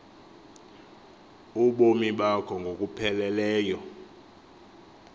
ubomi bakho ngokupheleleyo